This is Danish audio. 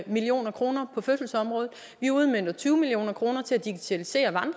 million kroner på fødselsområdet vi udmønter tyve million kroner til at digitalisere